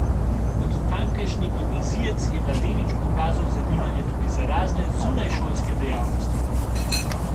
Kot tamkajšnji gimnazijec je mladenič pokazal zanimanje tudi za razne zunajšolske dejavnosti.